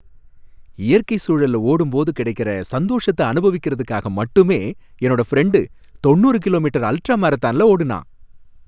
இயற்கை சூழல்ல ஓடும் போது கிடைக்குற சந்தோஷத்த அனுபவிக்கறதுக்காக மட்டுமே என்னோட ஃப்ரெண்டு தொண்ணுறு கிலோமீட்டர் அல்ட்ரா மராத்தான்ல ஓடுனான்.